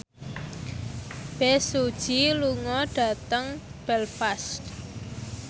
Bae Su Ji lunga dhateng Belfast